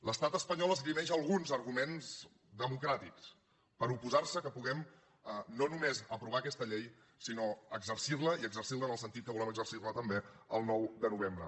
l’estat espanyol esgrimeix alguns arguments democràtics per oposarse que puguem no només aprovar aquesta llei sinó exercirla i exercirla en el sentit que volem exercirla també el nou de novembre